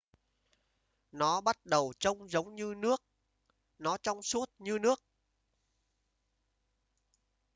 nó bắt đầu trông giống như nước nó trong suốt như nước